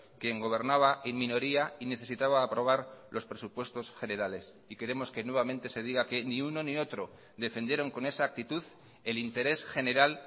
quien gobernaba en minoría y necesitaba aprobar los presupuestos generales y queremos que nuevamente se diga que ni uno ni otro defendieron con esa actitud el interés general